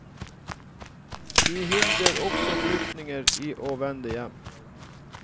De hindrer også flyktninger i å vende hjem.